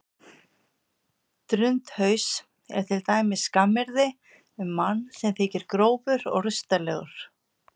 Drundhaus er til dæmis skammaryrði um mann sem þykir grófur og rustalegur.